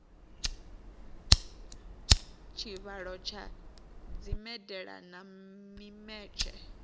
tshivhalo tsha dzimedala na mimetshe